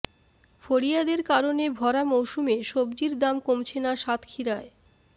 ফড়িয়াদের কারণে ভরা মৌসুমে সবজির দাম কমছে না সাতক্ষীরায়